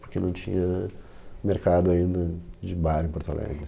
Porque não tinha mercado ainda de bar em Porto Alegre.